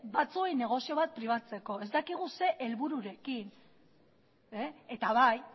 batzuen negozio bat pribatzeko ez dakigu ze helbururekin eta bai